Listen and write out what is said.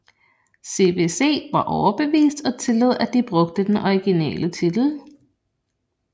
CBC var overbevist og tillod at de brugte den originale titel